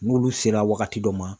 N'olu sera wagati dɔ ma